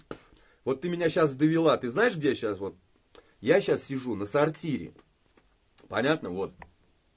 вот ты меня сейчас довела ты знаешь где я сейчас вот я сейчас сижу на сортире понятно вот